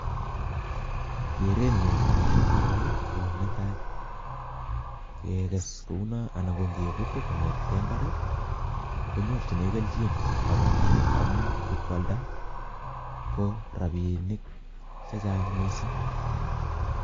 gerenyu agoba koroi go netai geges kouna anan gongebut eng imbar gonyorchine kelnjin kabatindet amu ngipkwalnda go rapinik chechang mising